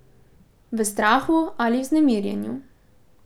V strahu ali vznemirjenju?